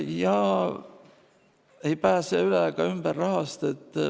Ja ei pääse üle ega ümber rahast.